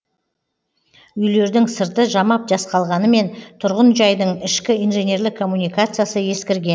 үйлердің сырты жамап жасқалғанымен тұрғын жайдың ішкі инженерлік коммуникациясы ескірген